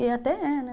E até é, né?